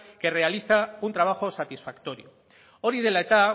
que realiza un trabajo satisfactorio hori dela eta